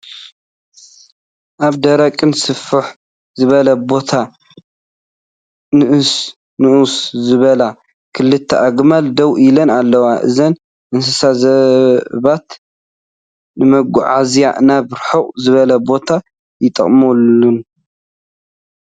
ኣብ ደረቅን ስፍሕ ዝበለ ቦታ ንእስ ንእስ ዝበላ ክልተ አግማል ደው ኢለን ኣለዋ። እዘን እንስሳ ሰባት ንመጓዓዝያን ናበ ርሑቅ ዝበለ ቦታ ይጥቀሙለን።